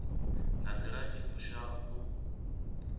nga nḓila i fushaho u